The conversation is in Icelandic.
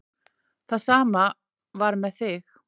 Það sama var með þig.